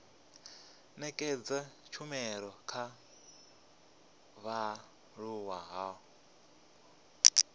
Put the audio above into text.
nekedza tshumelo kha vhaaluwa ho